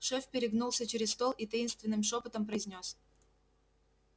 шеф перегнулся через стол и таинственным шёпотом произнёс